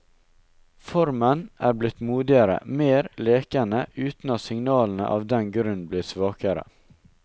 Formen er blitt modigere, mer lekende, uten at signalene av den grunn blir svakere.